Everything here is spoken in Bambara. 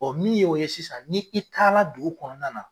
Ɔ min y' o ye sisan ni i taara dugu kɔnɔna na.